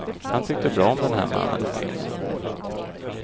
Han tyckte bra om den här mannen och kvinnan.